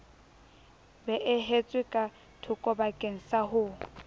beehetswe ka thokobakeng sa ho